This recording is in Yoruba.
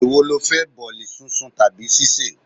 È wo lo fẹ́? Bọ̀ọ̀lì sún sun tàbí sise?